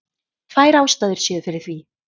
Tvær ástæður séu fyrir því